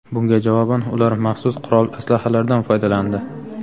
Bunga javoban ular maxsus qurol-aslahalardan foydalandi.